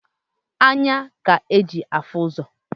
Anya k'e ji afụ ụzọ.